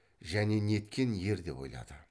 және неткен ер деп ойлады